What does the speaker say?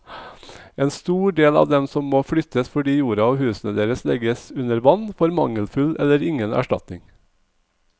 En stor del av dem som må flyttes fordi jorda og husene deres legges under vann, får mangelfull eller ingen erstatning.